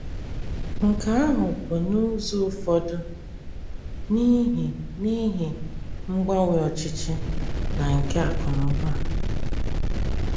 Nke ahụ bụ n’ụzọ ụfọdụ n’ihi n’ihi mgbanwe ọchịchị na nke akụ̀ na ụba.